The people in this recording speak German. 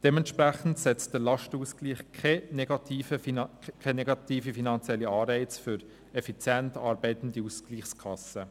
Entsprechend setzt der Lastenausgleich keine negativen finanziellen Anreize für effizient arbeitende Ausgleichskassen.